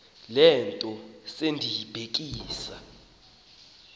le nto sendiyibhekisa